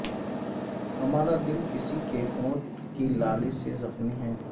ہمارا دل کسی کے ہونٹ کی لالی سے زخمی ہے